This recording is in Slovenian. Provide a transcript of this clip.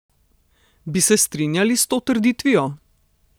Bi se strinjal s to trditvijo?